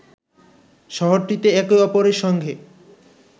শহরটিতে একে অপরের সঙ্গে